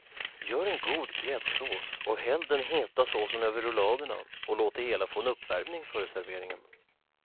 Gör en god gräddsås och häll den heta såsen över rulladerna och låt det hela få en uppvärmning före serveringen.